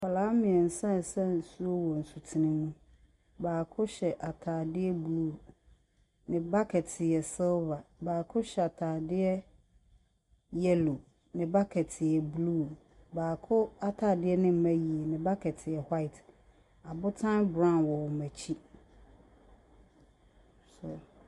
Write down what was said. Nkwadaa mmiɛnsa ɛɛsa nsuo wɔ nsutene nim. Baako hyɛ ataadeɛ blue. Bucket yɛ silver. Baako hyɛ ataadeɛ yellow. Ne bucket yɛ blue. Baako ataadeɛ no ɛmma yie, ne bucket yɛ white. Abotan brown wɔ wɔn akyi so .